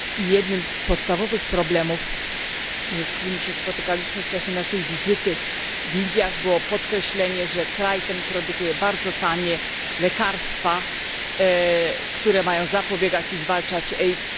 Jednym z podstawowych problemów, z którymi się spotkaliśmy w czasie naszej wizyty w Indiach było podkreślenie, że kraj ten produkuje bardzo tanie lekarstwa, które mają zapobiegać i zwalczać AIDS.